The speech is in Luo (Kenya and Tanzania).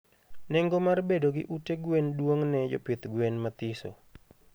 Nengo mar bedo gi ute gwen duong ne jopidh gwen mathiso